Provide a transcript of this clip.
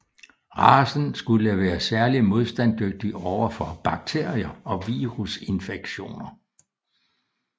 Racen skulle være særligt modstandsdygtig over for bakterier og virusinfektioner